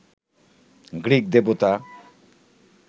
Greek দেবতা